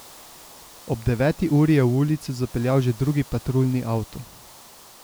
Ob deveti uri je v ulico zapeljal že drugi patruljni avto.